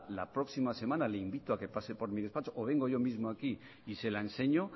la próxima semana le invito a que pase por mi despacho o vengo yo mismo aquí y se la enseño